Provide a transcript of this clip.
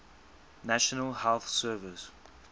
national health service